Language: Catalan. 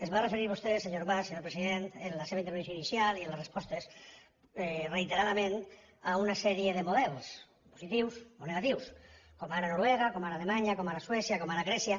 es va referir vostè senyor mas senyor president en la seva intervenció inicial i en les respostes reiteradament a una sèrie de models positius o negatius com ara noruega com ara alemanya com ara suècia com ara grècia